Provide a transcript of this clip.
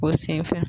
O senfɛ